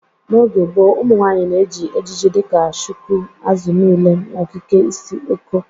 N'oge gboo, ụmụnwaanyị na-eji ejiji dị ka shuku, azụ niile, na okike isi Eko.